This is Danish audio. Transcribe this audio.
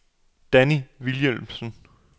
Danni Vilhelmsen